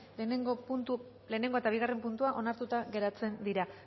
batgarrena eta bigarrena puntuak onartuta geratzen dira